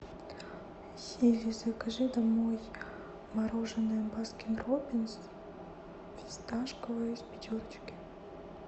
сири закажи домой мороженое баскин роббинс фисташковое из пятерочки